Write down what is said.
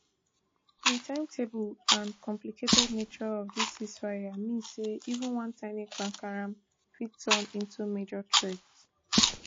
di timetable and complicated nature of dis ceasefire mean say even one tiny kpakaram fit turn into major threat